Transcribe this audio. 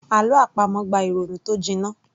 Àlọ́ àpamọ̀ gba ìrònú tó jiná